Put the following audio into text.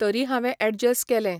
तरी हांवें एडजस केलें.